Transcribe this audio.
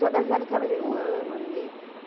Todas elas eu trabalhei um ano, um ano e meio.